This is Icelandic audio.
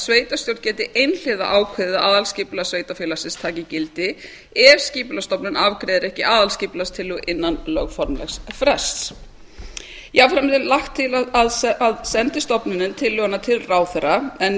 sveitarstjórn geti einhliða ákveðið að aðalskipulag sveitarfélagsins taki gildi ef skipulagsstofnun afgreiðir ekki aðalskipulagstillögu innan lögformlegs frests jafnframt er lagt til að sendi stofnunin tillöguna til ráðherra en í